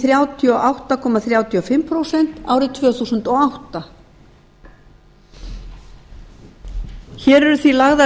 þrjátíu og átta komma þrjátíu og fimm prósent árið tvö þúsund og átta hér eru því lagðar